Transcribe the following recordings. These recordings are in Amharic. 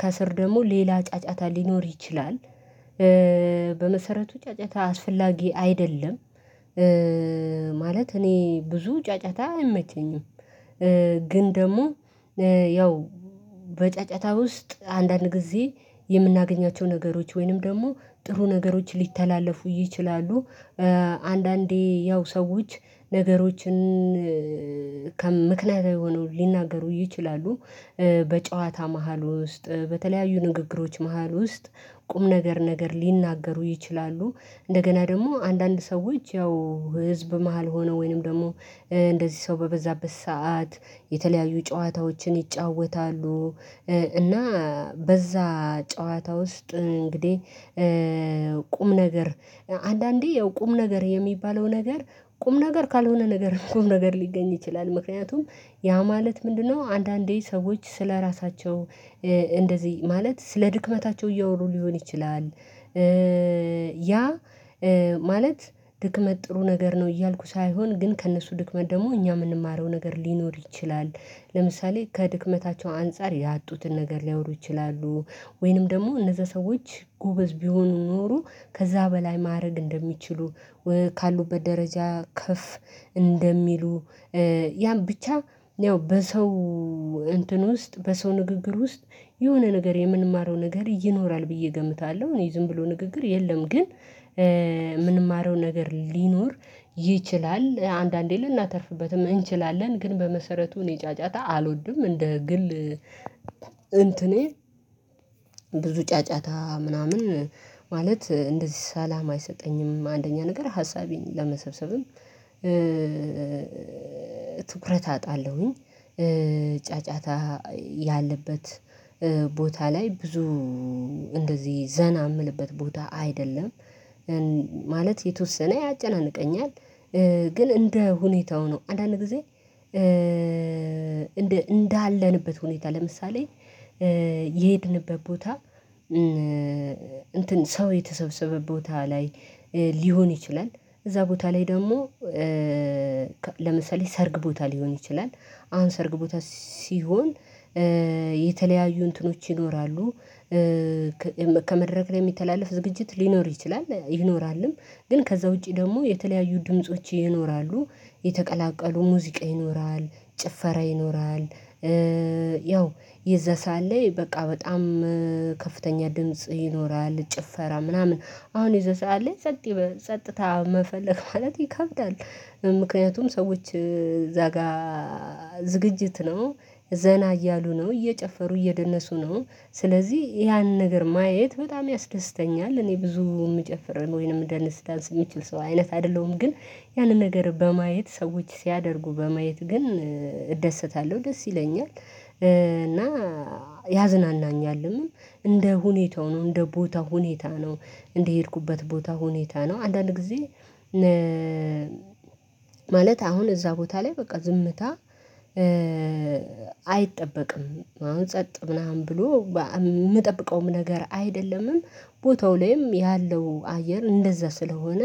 ከስር ደግሞ ሌላ ጫጫታ ሊኖር ይችላል። በመሰረቱ ጫጫታ አስፈላጊ አይደለም። ማለት እኔ ብዙ ጫጫታ አይመቸኝም። ግን ደግሞ ያው በጫጫታ ውስጥ አንዳንድ ጊዜ የምናገኛቸው ነገሮች ወይንም ደግሞ ጥሩ ነገሮች ሊተላለፉ ይችላሉ። አንዳንዴ ያው ሰዎች ነገሮችን ከምክንያታዊ ሆነው ሊናገሩ ይችላሉ በጨዋታ መሃል ውስጥ በተለያዩ ንግግሮች መሃል ውስጥ ቁም ነገር ነገር ሊናገሩ ይችላሉ። እንደገና ደግሞ አንዳንድ ሰዎች ያው ህዝብ መሃል ሆነው ወይንም ደግሞ እንደዚህ ሰው በበዛበት ሰዓት የተለያዩ ጨዋታዎችን ይጫወታሉ። እና በዛ ጨዋታ ውስጥ እንግዲህ ቁም ነገር አንዳንዴ ያው ቁም ነገር የሚባለው ነገር ቁም ነገር ካልሆነ ነገርም ቁም ነገር ሊገኝ ይችላል። ምክንያቱም ያ ማለት ምንድነው አንዳንዴ ሰዎች ስለራሳቸው እንደዚህ ማለት ስለድክመታቸው እያወሩ ሊሆን ይችላል። ያ ማለት ድክመት ጥሩ ነገር ነው እያልኩ ሳይሆን ግን ከእነሱ ድክመት ደግሞ እኛ የምንማረው ነገር ሊኖር ይችላል። ለምሳሌ ከድክመታቸው አንፃር ያጡትን ነገር ሊያወሩ ይችላሉ። ወይንም ደግሞ እነዛ ሰዎች ጎበዝ ቢሆኑ ኖሮ ከዛ በላይ ማድረግ እንደሚችሉ፤ ካሉበት ደረጃ ከፍ እንደሚሉ ያን ብቻ ያው በሰው እንትን ውስጥ በሰው ንግግር ውስጥ የሆነ ነገር የምንማረው ነገር ይኖራል ብዬ እገምታለሁ። እኔ ዝም ብሎ ንግግር የለም ግን የምንማረው ነገር ሊኖር ይችላል። አንዳንዴ ልናተርፍበትም እንችላለን። ግን በመሰረቱ እኔ ጫጫታ አልወድም እንደ ግል እንትኔ ብዙ ጫጫታ ምናምን ማለት እንደዚህ ሰላም አይሰጠኝም አንደኛ ነገር ሀሳቤን ለመሰብሰብም ትኩረት አጣለሁኝ። ጫጫታ ያለበት ቦታ ላይ ብዙ እንደዚህ ዘና የምልበት ቦታ አይደለም። ማለት የተወሰነ ያጨናንቀኛል። ግን እንደ ሁኔታው ነው። አንዳንድ ጊዜ እንዳለንበት ሁኔታ ለምሳሌ የሄድንበት ቦታ እንትን ሰው የተሰበሰበ ቦታ ላይ ሊሆን ይችላል እዛ ቦታ ላይ ደግሞ ለምሳሌ ሰርግ ቦታ ሊሆን ይችላል አሁን ሰርግ ቦታ ሲሆን የተለያዩ እንትኖች ይኖራሉ። ከመድረክ ላይ የሚተላለፍ ዝግጅት ሊኖር ይችላል ይኖራልም። ግን ከዛ ውጪ ደግሞ የተለያዩ ድምጾች ይኖራሉ፤ የተቀላቀሉ ሙዚቃ ይኖራል፤ ጭፈራ ይኖራል ያው የዛ ሰዓት ላይ በቃ በጣም ከፍተኛ ድምጽ ይኖራል ጭፈራ ምናምን አሁን የዛ ሰዓት ላይ ጸጥ ጸጥታ መፈለግ ማለት ይከብዳል ምክንያቱም ሰዎች እዛ ጋር ዝግጅት ነው፤ ዘና እያሉ ነው፤ እየጨፈሩ እየደነሱ ነው። ስለዚህ ያንን ነገር ማየት በጣም ያስደስተኛል። እኔ ብዙ የምጨፍር ወይንም የምደንስ ዳንስ የምችል ሰው አይነት አይደለሁም። ግን ያንን ነገር በማየት ሰዎች ሲያደርጉ በማየት ግን እደሰታለሁ። ደስ ይለኛል እና ያዝናናኛልም። እንደ ሁኔታው ነው። እንደ ቦታው ሁኔታ ነው። እንደሄድኩበት ቦታ ሁኔታ ነው። አንዳንድ ጊዜ ማለት አሁን እዛ ቦታ ላይ በቃ ዝምታ አይጠበቅም። አሁን ጸጥ ምናምን ብሎ የምጠብቀውም ነገር አይደለምም ቦታው ላይም ያለው አየር እንደዛ ስለሆነ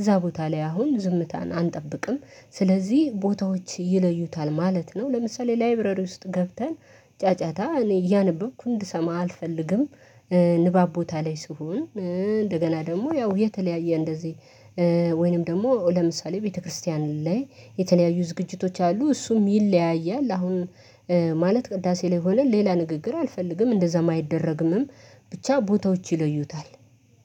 እዛ ቦታ ላይ አሁን ዝምታን አንጠብቅም ስለዚህ ቦታዎች ይለዩታል ማለት ነው። ለምሳሌ ላይብረሪ ውስጥ ገብተን ጫጫታ እኔ እያነበብኩ እንድሰማ አልፈልግም። ንባብ ቦታ ላይ ስሆን እንደገና ደግሞ ያው የተለያየ እንደዚህ ወይንም ደግሞ ለምሳሌ ቤተክርስቲያን ላይ የተለያዩ ዝግጅቶች አሉ። እሱም ይለያያል አሁን ማለት ቅዳሴ ላይ ሆነን ሌላ ንግግር አልፈልግም። እንደዛም አይደረግምም። ብቻ ቦታዎች ይለዩታል።